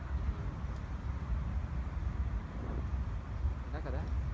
உம் உம் என்ன கதை